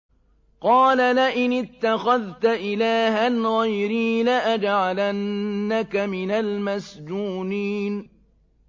قَالَ لَئِنِ اتَّخَذْتَ إِلَٰهًا غَيْرِي لَأَجْعَلَنَّكَ مِنَ الْمَسْجُونِينَ